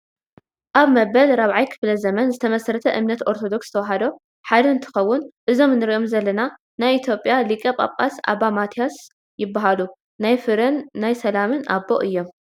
ኣብ መበል 4ይ ክፍለ-ዘመን ዝተመስረተ እምነት ኦርቶዶክስ ተዋህዶ ሓዳ እንትከውን እዞም እንረኦም ዘለና ናይ ኢትዮጰያ ሊቀ-ፓፓስ ኣባ ማትያስ ይባሃሉ። ናይ ፍርን ናይ ሰላም ኣቦ እዮም ።